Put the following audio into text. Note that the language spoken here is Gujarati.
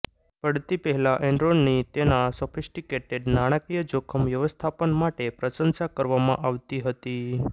પડતી પહેલાં એનરોનની તેના સોફિસ્ટીકેટેડ નાણાકીય જોખમ વ્યવસ્થાપન માટે પ્રસંશા કરવામાં આવતી હતી